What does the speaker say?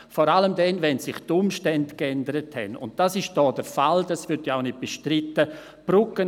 Vor allem dann, wenn sich die Umstände geändert haben, was hier der Fall ist, was ja nicht bestritten wird.